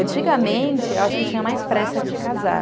Antigamente, eu acho que tinha mais pressa de casar.